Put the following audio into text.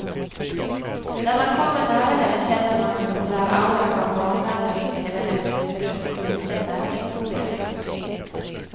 När man kommer nära henne känner man den där auran av barnvärme runt hela hennes huvud, som en liten värmegloria.